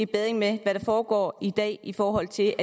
bedring af hvad der foregår i dag i forhold til